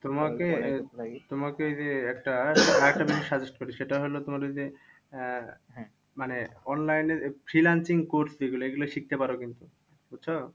তোমাকে তোমাকে যে একটা আরেকটা বিষয় suggest করি, সেটা হলো তোমার ওই যে আহ মানে online এ freelancing course যেগুলো এইগুলো শিখতে পারো কিন্তু, বুঝছো?